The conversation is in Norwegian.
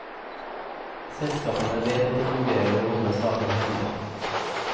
Selskapene vet at det fungerer å holde saker hemmelig.